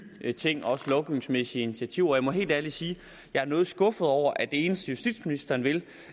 ting også lovgivningsmæssige initiativer jeg må helt ærligt sige at jeg er noget skuffet over at det eneste justitsministeren vil